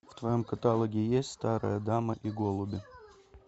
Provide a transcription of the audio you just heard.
в твоем каталоге есть старая дама и голуби